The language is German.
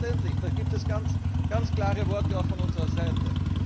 Selbstverständlich, da gibt es ganz klare Worte auch von unserer Seite.